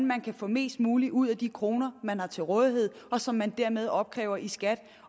man kan få mest muligt ud af de kroner man har til rådighed og som man dermed opkræver i skat